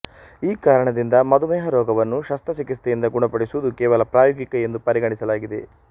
ಈ ಕಾರಣದಿಂದ ಮಧುಮೇಹ ರೋಗವನ್ನು ಶಸ್ತ್ರ ಚಿಕಿತ್ಸೆಯಿಂದ ಗುಣಪಡಿಸುವುದು ಕೇವಲ ಪ್ರಾಯೋಗಿಕ ಎಂದು ಪರಿಗಣಿಸಲಾಗಿದೆ